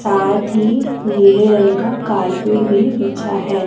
साथ ही नीले रंग का कारपेट भी बिछा है।